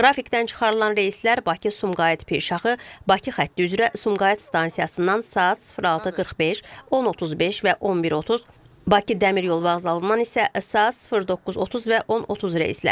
Qrafikdən çıxarılan reyslər Bakı-Sumqayıt Pirşağı, Bakı xətti üzrə Sumqayıt stansiyasından saat 06:45, 10:35 və 11:30, Bakı dəmir yolu vağzalından isə saat 09:30 və 10:30 reysləridir.